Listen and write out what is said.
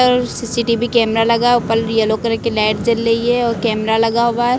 और CCTV camera लगा है ऊपर येलो कलर की लाइट जल रही है और कैमरा लगा हुआ है।